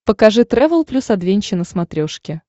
покажи трэвел плюс адвенча на смотрешке